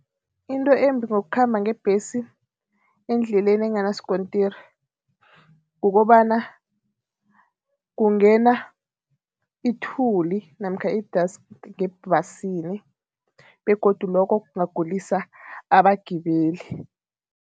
Into embi ngokukhamba ngebhesi endleleni enganaskontiri kukobana, kungena ithuli namkha i-dust ngebhasini begodu lokho kungagulisa abagibeli.